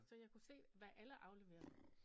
Så jeg kunne se hvad alle afleverede